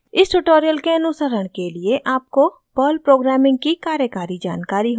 इस ट्यूटोरियल के अनुसरण के लिए आपको perl प्रोग्रामिंग की कार्यकारी जानकारी होनी चाहिए